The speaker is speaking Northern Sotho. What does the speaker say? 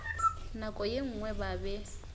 nako ye nngwe ba be